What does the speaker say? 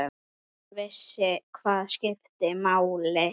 Hún vissi hvað skipti máli.